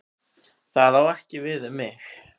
Það á ekki við um mig.